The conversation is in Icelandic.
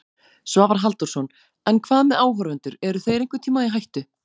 Svavar Halldórsson: En hvað með áhorfendur, eru þeir einhvern tíma í hættu?